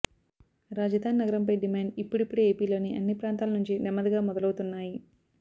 రాజధాని నగరంపై డిమాండ్ ఇప్పుడిప్పుడే ఏపీలోని అన్నీ ప్రాంతాల నుంచి నెమ్మదిగా మొదలువుతున్నాయి